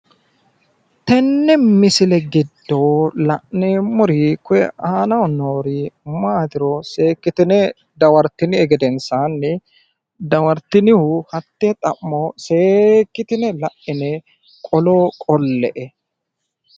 Tene misile giddo la'neemori koye aanaho noori maatiro seekitine dawartinie gedensaani dawaritinihu hatte xa'mo seekitine la'ine qollo qolle'e